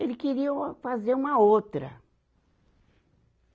ele queria uma, fazer uma outra.